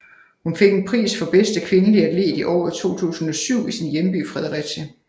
Hun fik en pris for bedste kvindelige atlet i året 2007 i sin hjemby Fredericia